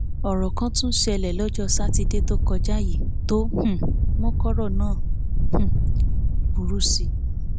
ohun kan tún ṣẹlẹ lọjọ sátidé tó kọjá yìí tó um mú kọrọ náà tún um burú sí i